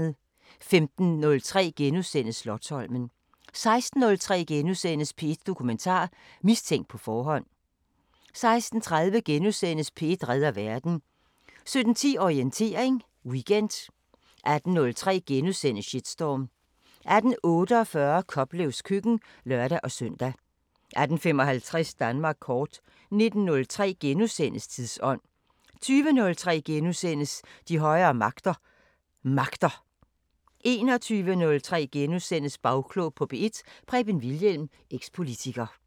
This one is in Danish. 15:03: Slotsholmen * 16:03: P1 Dokumentar: Mistænkt på forhånd * 16:30: P1 redder verden * 17:10: Orientering Weekend 18:03: Shitstorm * 18:48: Koplevs køkken (lør-søn) 18:55: Danmark kort 19:03: Tidsånd * 20:03: De højere magter: Magter * 21:03: Bagklog på P1: Preben Wilhjelm, eks-politiker *